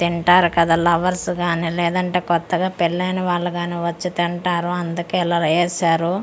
తింటారు కదా లవర్స్ కానీ లేదంటే కొత్తగా పెళ్లి అయిన వాలు కానీ వచ్చి తింటారు అందుకే ఇలా ఏశారు చా--